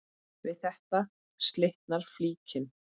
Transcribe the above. Við þetta slitnar flíkin.